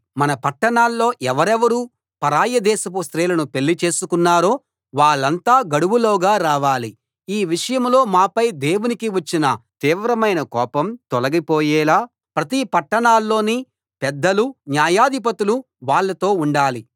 మన పట్టణాల్లో ఎవరెవరు పరాయి దేశపు స్త్రీలను పెళ్లి చేసుకొన్నారో వాళ్ళంతా గడువులోగా రావాలి ఈ విషయంలో మాపై దేవునికి వచ్చిన తీవ్రమైన కోపం తొలగిపోయేలా ప్రతి పట్టణాల్లోని పెద్దలు న్యాయాధిపతులు వాళ్ళతో ఉండాలి